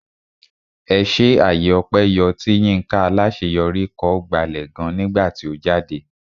Ẹṣé àyè ọpẹ yọ tí Yinka Alaṣeyori kọ gbalẹ̀ gan nígbà tí ó jáde.